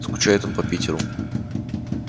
скучает он по питеру